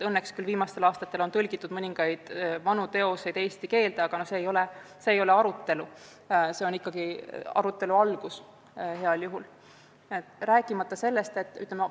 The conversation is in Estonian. Õnneks on viimastel aastatel tõlgitud mõningaid vanu teoseid eesti keelde, aga see ei ole arutelu, see on heal juhul arutelu algus.